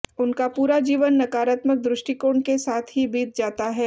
उनका पूरा जीवन नकारात्मक दृष्टिकोण के साथ ही बीत जाता है